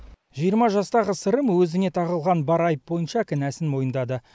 жиырма жастағы сырым өзіне тағылған бар айып бойынша кінәсін мойындады